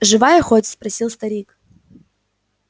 живая хоть спросил старик